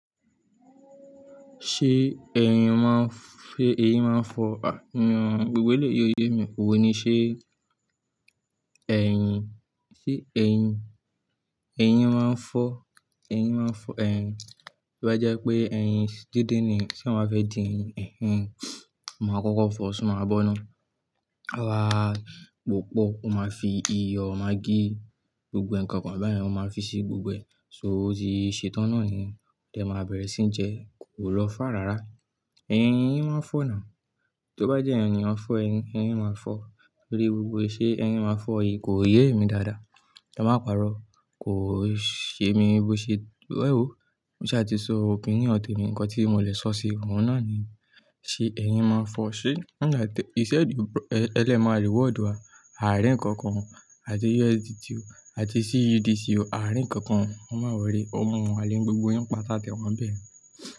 Ṣé ẹ̀yìn máa ń, ṣe ẹyín máa ń fọ Gbogbo lè yóyé mi, òwe ni. Ṣé ẹ̀yìn, ṣé ẹyìn, ẹyín máa ń fọ, ẹyín máa ń fọ. Tí ó bá jẹ́ pé ẹyín díndín ni tí eyan ba fẹ́ dín ni, ẹyin máa kókó fọ, ṣùgbọ́n máa bọ́ná. Awa popọ̀ wọ́n máa ń fi iyọ̀, magí, gbogbo ǹkan kan báyen wọ́n máa ń fi sí gbogbo ẹ̀. So ó ti ṣe tán náà ni yen, è máa bẹ̀rẹ̀ sí jẹ, kò lọ fà rárá. Ẹn, ẹyín máa ń fọ náà. Tí ó bá jẹ́ ènìyàn fọ́ ẹyín, ẹyín máa fọ̀ torí gbogbo ìṣe ẹyín máa ń fọ̀ yìí kò yé mi dáadáa. Ki ma parọ́ kò ṣe mi bó ṣe. Ẹ̀wó! Mo ṣa ti sọ òpinion te mi, ǹkan tí mo lè sọ sí òun náà ni ṣe ẹyìn máa ń fọ́ ṣe? Wọ́n ń gba tẹ, e le máa reward wa. Àárín ǹkan kan àti USDT àti CUD o. Àárín ǹkan kan, e máa wòrry ómo ale ni gbogbo yín pátá tẹ wọ́n bẹ̀.